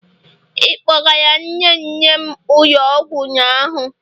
Ị kpọgara nne nne m ụlọ ọgwụ ụnyaahụ?